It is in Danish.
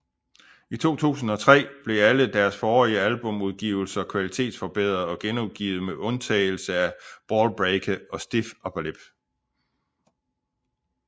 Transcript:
I 2003 blev alle deres forrige albumudgivelser kvalitetsforbedret og genudgivet med undtagelse af Ballbreaker og Stiff Upper Lip